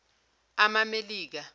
amamelika